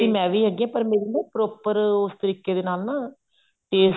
ਮੈਂ ਵੀ ਹੈਗੀ ਆਂ ਪਰ ਮੇਰੀ proper ਉਸ ਤਰੀਕੇ ਦੇ ਨਾਲ ਨਾ taste